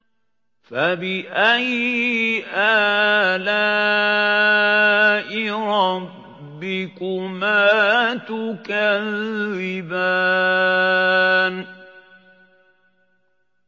فَبِأَيِّ آلَاءِ رَبِّكُمَا تُكَذِّبَانِ